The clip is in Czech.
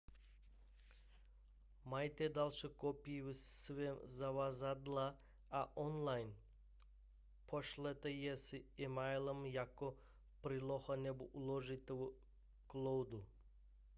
mějte další kopii ve svém zavazadle a online pošlete si ji emailem jako přílohu nebo uložte v cloudu